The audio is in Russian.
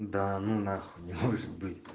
да ну нахуй не может